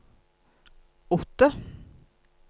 åtte